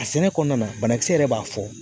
A sɛnɛ kɔnɔna na banakisɛ yɛrɛ b'a fɔ.